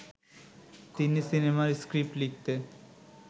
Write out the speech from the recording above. তিনি সিনেমার স্ক্রিপ্ট লিখতে